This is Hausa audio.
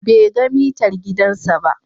Bai ga mitar gidansa ba.